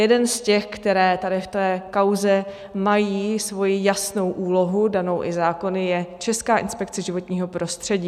Jeden z těch, které tady v té kauze mají svou jasnou úlohu danou i zákony, je Česká inspekce životního prostředí.